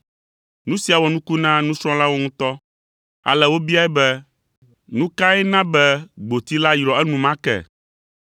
Nu sia wɔ nuku na nusrɔ̃lawo ŋutɔ, ale wobiae be, “Nu kae na be gboti la yrɔ enumake?”